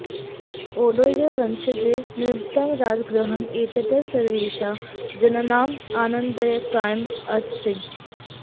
ओडेयर् वंशजैः निर्मितम् राजगृहम् एतत् सर्वेषां जनानाम् आनन्ददायकम् अस्ति